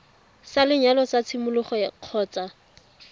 sa lenyalo sa tshimologo kgotsa